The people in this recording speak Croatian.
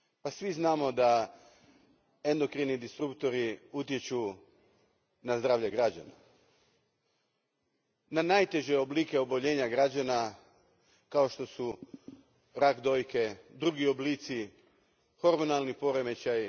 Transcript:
Svi znamo da endokrini disruptori utječu na zdravlje građana, na najteže oblike oboljenja građana, kao što su rak dojke, drugi oblici, hormonalni poremećaji.